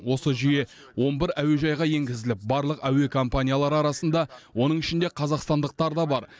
осы жүйе он бір әуежайға енгізіліп барлық әуе компаниялары арасында оның ішінде қазақстандықтар да бар